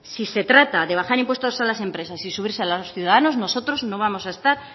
si se trata de bajar impuestos a las empresas y subírselos a los ciudadanos nosotros no vamos a estar